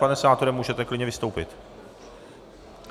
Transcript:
Pane senátore, můžete klidně vystoupit.